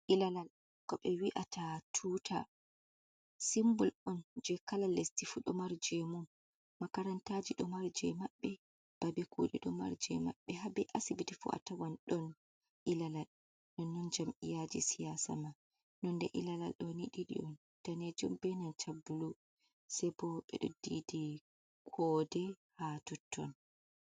Ilalawal ko ɓe wi'ata tuta. Simbol on je kala lesdi fu ɗomari je mun. Makarantaji ɗo mari je mabbe. Babe kuɗe ɗo mari je mabbe, ha be asibiti fu atawan ɗon ilalawal. Nonnon jam'iyaji siyasama. Nonde ilalawal ɗo ni danejum on, be blu. se bo ɓe ɗo didi kode ha totton.